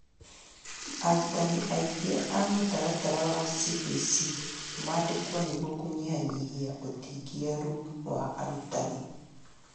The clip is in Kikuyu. Arutani aingĩ a mũtaratara wa CBC mandĩkwo nĩguo kũnyihia ũtingiaru wa arutani